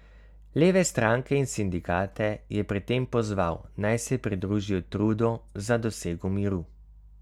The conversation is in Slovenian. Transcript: Leve stranke in sindikate je pri tem pozval, naj se pridružijo trudu za dosego miru.